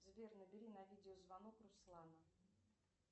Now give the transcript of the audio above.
сбер набери на видеозвонок руслана